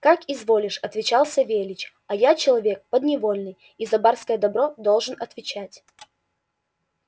как изволишь отвечал савельич а я человек подневольный и за барское добро должен отвечать